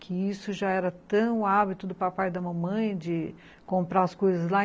que isso já era tão hábito do papai e da mamãe de comprar as coisas lá.